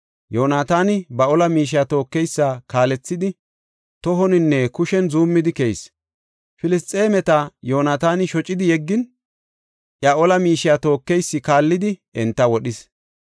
Yoonataani ba ola miishiya tookeysa kaalethidi, tohoninne kushen zuumidi keyis. Filisxeemeta Yoonataani shocidi yeggin, iya ola miishiya tookeysi kaallidi enta wodhis.